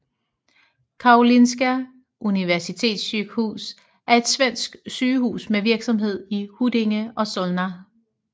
Karolinska Universitetssjukhuset er et svensk sygehus med virksomhed i Huddinge og Solna